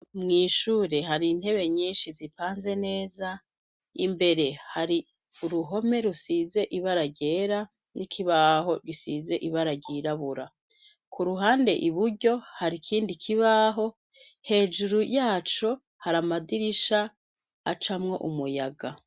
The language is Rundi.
Mw'ishure hari intebe nyinshi zipanze neza, imbere hari uruhome rusize ibara ryera n'ikibazo gisize ibara ryirabura. Iburyo, hari ikindi kibaho, hejuru yaco hari amadirisha acamwo umuyaga.